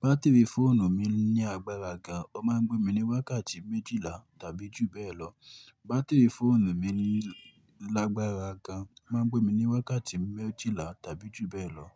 Batiri fóònù mi ní agbára gan, ó máa ń gbé mi ní wákàtí méjìlá tàbí jù bẹ́ẹ̀. Fún wákàtí méjìlá tàbí jù bẹ́ẹ̀ lọ.